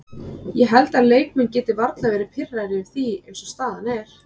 Ég held að leikmenn geti varla verði pirraðir yfir því eins og staðan er.